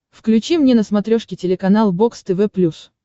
включи мне на смотрешке телеканал бокс тв плюс